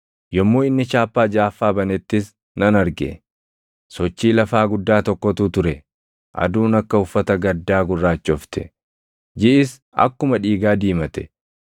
Yommuu inni chaappaa jaʼaffaa banettis nan arge. Sochii lafaa guddaa tokkotu ture. Aduun akka uffata gaddaa gurraachofte; jiʼis akkuma dhiigaa diimate;